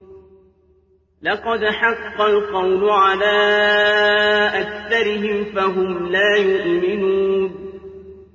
لَقَدْ حَقَّ الْقَوْلُ عَلَىٰ أَكْثَرِهِمْ فَهُمْ لَا يُؤْمِنُونَ